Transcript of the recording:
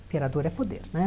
Imperador é poder, né?